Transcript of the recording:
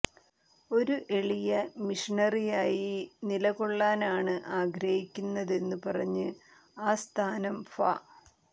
ഒരു എളിയ മിഷണറിയായി നിലകൊള്ളാനാണ് ആഗ്രഹിക്കുന്നതെന്നു പറഞ്ഞ് ആ സ്ഥാനം ഫാ